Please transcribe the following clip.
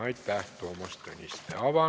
Aitäh, Toomas Tõniste!